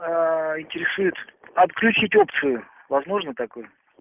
интересует отключить опцию возможно такое